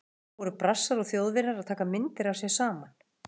Þar voru Brassar og Þjóðverjar að taka myndir af sér saman.